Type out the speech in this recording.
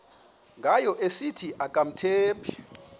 ngayo esithi akamthembi